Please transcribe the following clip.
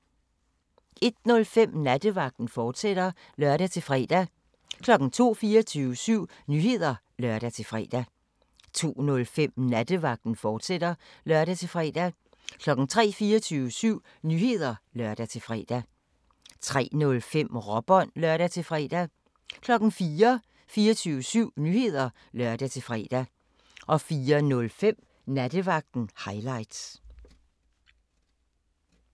01:05: Nattevagten, fortsat (lør-fre) 02:00: 24syv Nyheder (lør-fre) 02:05: Nattevagten, fortsat (lør-fre) 03:00: 24syv Nyheder (lør-fre) 03:05: Råbånd (lør-fre) 04:00: 24syv Nyheder (lør-fre) 04:05: Nattevagten – highlights